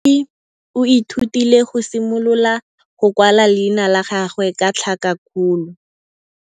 Moithuti o ithutile go simolola go kwala leina la gagwe ka tlhakakgolo.